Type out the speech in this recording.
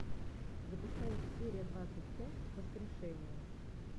запускай серия двадцать пять воскрешение